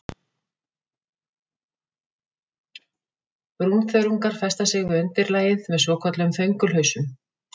Brúnþörungar festa sig við undirlagið með svokölluðum þöngulhausum.